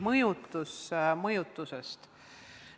Nüüd mõjutusest.